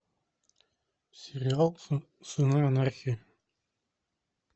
сериал сыны анархии